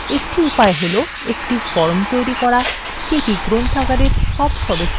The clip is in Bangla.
একটি উপায় হল একটি form তৈরি করা যেটি গ্রন্থাগারের সব সদস্যদের তালিকাভুক্ত করবে